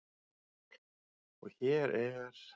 Og hér er